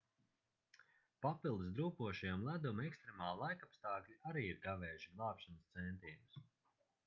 papildus drūpošajam ledum ekstremāli laikapstākļi arī ir kavējuši glābšanas centienus